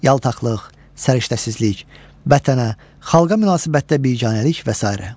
Yaltaqlıq, səriştəsizlik, vətənə, xalqa münasibətdə biganəlik və sairə.